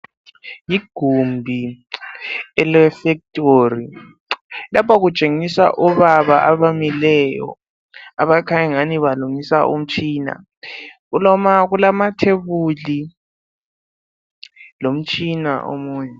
Igumbi ele fectori. Lapha kutshengisa obaba abamileyo abakhanya angani balungisa umtshina .Kulamathebuli lomtshina omunye.